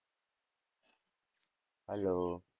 Hello